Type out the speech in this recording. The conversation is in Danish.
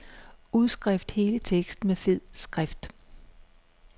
Udskift hele teksten med fed skrift.